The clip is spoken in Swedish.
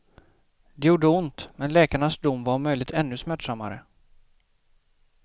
Det gjorde ont, men läkarnas dom var om möjligt ännu smärtsammare.